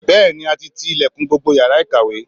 Bẹ́ẹ̀ni, a ti ti ilẹ̀kùn gbogbo yàrá ìkàwé